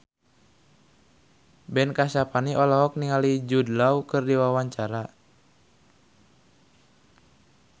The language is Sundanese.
Ben Kasyafani olohok ningali Jude Law keur diwawancara